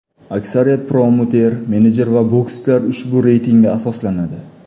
Aksariyat promouter, menejer va bokschilar ushbu reytingga asoslanadi.